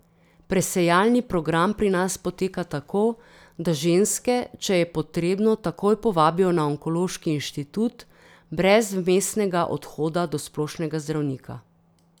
Presejalni program pri nas poteka tako, da ženske, če je potrebno, takoj povabijo na onkološki inštitut, brez vmesnega odhoda do splošnega zdravnika.